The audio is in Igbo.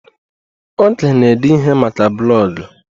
Oge na ede ihe maka blọgụ